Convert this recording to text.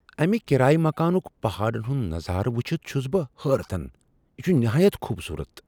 امہ کرایہ مکانک پہاڑن ہنٛد نظارٕ وچھِتھ چھُس بہ حیرتن ۔ یہ چھٗ نہایت خوبصورت!